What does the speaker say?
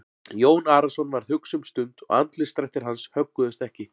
Jón Arason varð hugsi um stund og andlitsdrættir hans högguðust ekki.